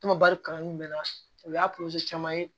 Kumaba kalanni bɛ na o y'a caman ye